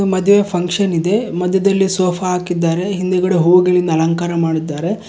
ಮದುವೆಯ ಫಂಕ್ಷನ್ ಇದೆ ಮಧ್ಯದಲ್ಲಿ ಸೋಫಾ ಹಾಕಿದ್ದಾರೆ ಹಿಂದಗಡೆ ಹೂವಿಗಳಿಂದ ಅಲಂಕಾರ ಮಾಡಿದ್ದಾರೆ.